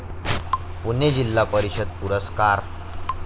पुणे जिल्हा परिषद पुरस्कार